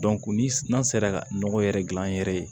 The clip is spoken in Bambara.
ni n'a sera ka nɔgɔ yɛrɛ gilan an yɛrɛ ye